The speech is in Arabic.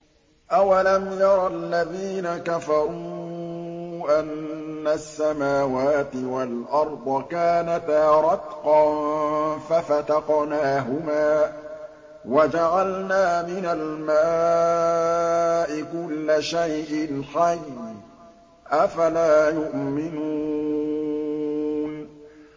أَوَلَمْ يَرَ الَّذِينَ كَفَرُوا أَنَّ السَّمَاوَاتِ وَالْأَرْضَ كَانَتَا رَتْقًا فَفَتَقْنَاهُمَا ۖ وَجَعَلْنَا مِنَ الْمَاءِ كُلَّ شَيْءٍ حَيٍّ ۖ أَفَلَا يُؤْمِنُونَ